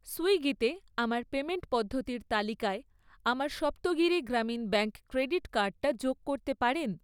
সুইগিতে আমার পেমেন্ট পদ্ধতির তালিকায় আমার সপ্তগিরি গ্রামীণ ব্যাঙ্ক ক্রেডিট কার্ডটা যোগ করতে পারেন?